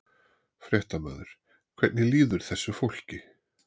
Fréttamaður: Hvernig líður þessu fólki?